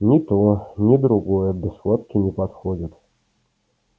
ни то ни другое для схватки не подходит